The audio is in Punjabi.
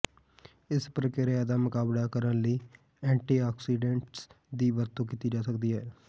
ਇਸ ਪ੍ਰਕਿਰਿਆ ਦਾ ਮੁਕਾਬਲਾ ਕਰਨ ਲਈ ਐਂਟੀਆਕਸਾਈਡੈਂਟਸ ਦੀ ਵਰਤੋਂ ਕੀਤੀ ਜਾ ਸਕਦੀ ਹੈ